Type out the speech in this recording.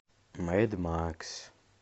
мэд макс